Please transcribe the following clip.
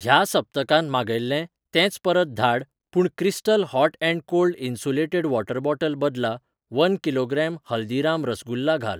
ह्या सप्तकांत मागयिल्लें तेंच परत धाड पूण crystal hot and cold insulated water bottle बदला वन किलोग्राम हल्दीराम रसगुल्ला घाल.